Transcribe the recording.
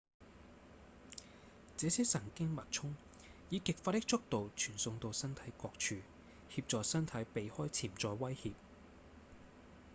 這些神經脈衝以極快的速度傳送到身體各處協助身體避開潛在威脅